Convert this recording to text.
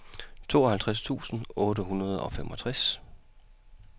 tooghalvtreds tusind otte hundrede og femogtres